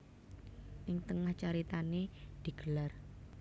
Ing tengah caritané digelar